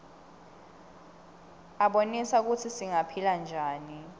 abonisa kutsi singaphila njani